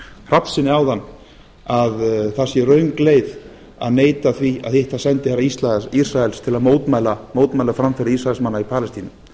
hrafnssyni áðan að það sé röng leið að neita því að hitta sendiherra ísraels til að mótmæla framferði ísraelsmanna í palestínu